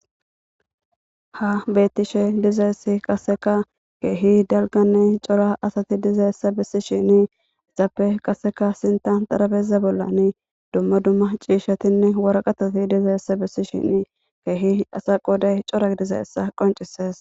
Ha beettishe dizaessi qaseka keehi dalgane cora asati dizayessa bissishini isappe qaseka sintan darabeza bollani dumma dumma ciishatinne waraqatoti dizayessa bissishin keehi asa qooday cora dizayessa qoncises.